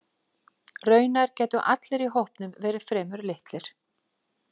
Raunar gætu allir í hópnum verið fremur litlir.